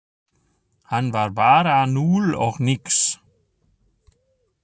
Hann var bara núll og nix.